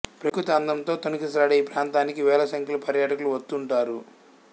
ప్రకృతి అందంతో తొణికిసలాడే ఈ ప్రాంతానికి వేల సంఖ్యలో పర్యాటకులు వద్తుంటారు